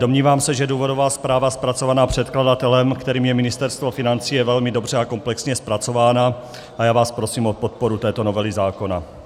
Domnívám se, že důvodová zpráva zpracovaná předkladatelem, kterým je Ministerstvo financí, je velmi dobře a komplexně zpracována a já vás prosím o podporu této novely zákona.